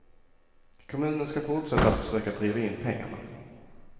Kommunen ska fortsätta att försöka driva in pengarna.